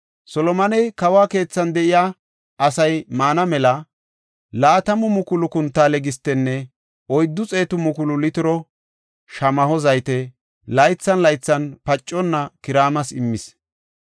Solomoney kawo keethan de7iya asay maana mela 20,000 kuntaale gistenne 400,000 litiro shamaho zayte laythan laythan paconna Kiraamas immis.